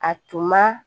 A tun ma